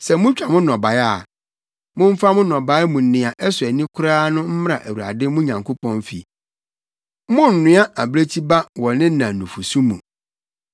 “Sɛ mutwa mo nnɔbae a, Momfa mo nnɔbae mu nea ɛsɔ ani koraa no mmra Awurade mo Nyankopɔn fi. “Monnoa abirekyi ba wɔ ne na nufusu mu.”